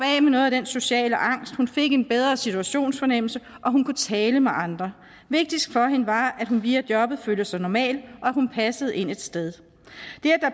noget af den sociale angst hun fik en bedre situationsfornemmelse og hun kunne tale med andre vigtigst for hende var at hun via jobbet følte sig normal og hun passede ind et sted